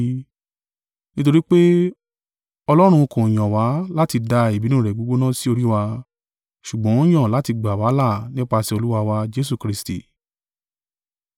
Nítorí pé, Ọlọ́run kò yàn wa láti da ìbínú rẹ̀ gbígbóná sí orí wa, ṣùgbọ́n ó yàn láti gbà wá là nípasẹ̀ Olúwa wa, Jesu Kristi.